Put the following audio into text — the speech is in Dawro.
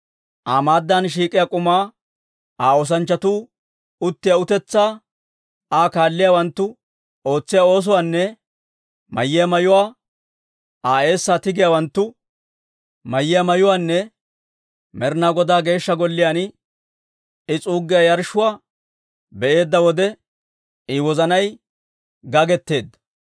Aa maaddan shiik'iyaa k'umaa, Aa oosanchchatuu uttiyaa utetsaa, Aa kaaliyaawanttu ootsiyaa oosuwaanne mayiyaa mayuwaa, Aa eessaa tigiyaawanttu mayiyaa mayuwaanne Med'inaa Godaa Geeshsha Golliyaan I s'uuggiyaa yarshshuwaa be'eedda wode, I wozanay gagetteedda.